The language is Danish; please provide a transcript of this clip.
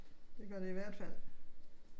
Det gør det i hvert fald